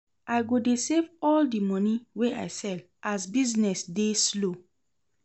I go dey save all di moni wey I sell as business dey slow.